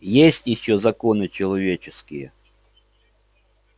есть ещё законы человеческие